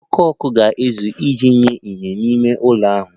Ọkụ ọkụ ga-ezuru iji nye ìhè n'ime ụlọ ahụ